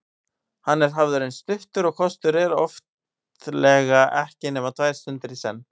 Hann er hafður eins stuttur og kostur er, oftlega ekki nema tvær stundir í senn.